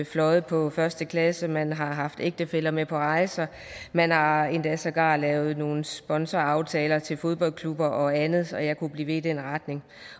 fløjet på første klasse man har haft ægtefæller med på rejser man har endda sågar lavet nogle sponsoraftaler til fodboldklubber og andet og jeg kunne blive ved i den retning